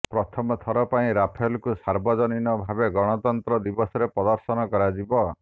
ପ୍ରଥମ ଥର ପାଇଁ ରାଫେଲକୁ ସାର୍ବଜନୀନ ଭାବେ ଗଣତନ୍ତ୍ର ଦିବସରେ ପ୍ରଦର୍ଶନ କରାଯିବ